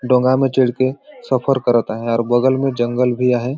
डोंगा में चढ कर सफर करत हे और बगल में जंगल भी आहे ।